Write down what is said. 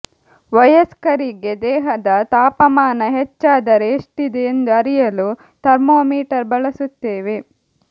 ವಯಸ್ಕರಿಗೆ ದೇಹದ ತಾಪಮಾನ ಹೆಚ್ಚಾದರೆ ಎಷ್ಟಿದೆ ಎಂದು ಅರಿಯಲು ಥರ್ಮೋಮೀಟರ್ ಬಳಸುತ್ತೇವೆ